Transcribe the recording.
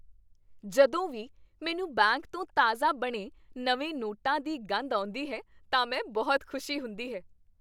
ਜਦੋਂ ਵੀ ਮੈਨੂੰ ਬੈਂਕ ਤੋਂ ਤਾਜ਼ਾ ਬਣੇ ਨਵੇਂ ਨੋਟਾਂ ਦੀ ਗੰਧ ਆਉਂਦੀ ਹੈ ਤਾਂ ਮੈਂ ਬਹੁਤ ਖੁਸ਼ੀ ਹੁੰਦੀ ਹੈ।